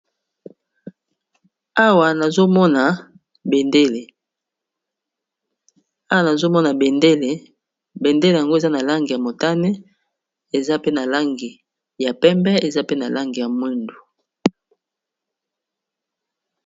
Awa nazomona bendele bendele yango eza na lange ya motane eza pe na langi ya pembe eza pe na langi ya mwindu